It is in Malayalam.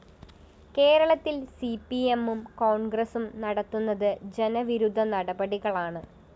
കേരളത്തില്‍ സിപി‌എമ്മും കോണ്‍ഗ്രസും നടത്തുന്നത് ജനവിരുദ്ധ നടപടികളാണ്